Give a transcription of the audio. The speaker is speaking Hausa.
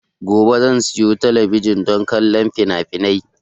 Gobe zan siya talabijin don kallon finafinai